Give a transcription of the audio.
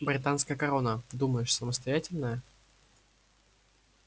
британская корона думаешь самостоятельная